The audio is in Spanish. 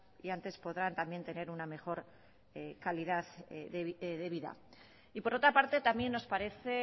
y antes podrán también tener una mejor calidad de vida y por otra parte también nos parece